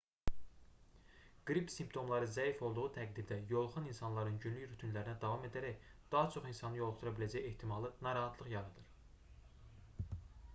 qrip simptomları zəif olduğu təqdirdə yoluxan insanların günlük rutinlərinə davam edərək daha çox insanı yoluxdura biləcəyi ehtimalı narahatlıq yaradır